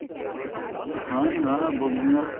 ਹਾਂਜੀ ਹਾਂ ਬੋਲੀਆਂ